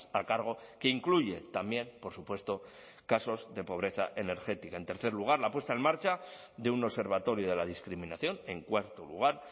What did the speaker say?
a cargo que incluye también por supuesto casos de pobreza energética en tercer lugar la puesta en marcha de un observatorio de la discriminación en cuarto lugar